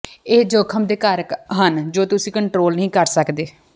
ਇਹ ਜੋਖਮ ਦੇ ਕਾਰਕ ਹਨ ਜੋ ਤੁਸੀਂ ਕੰਟਰੋਲ ਨਹੀਂ ਕਰ ਸਕਦੇ